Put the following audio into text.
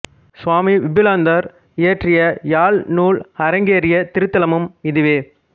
சுவாமி விபுலானந்தர் இயற்றிய யாழ் நூல் அரங்கேறிய திருத்தலமும் இதுவே